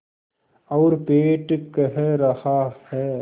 और पेट कह रहा है